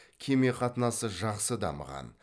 кеме қатынасы жақсы дамыған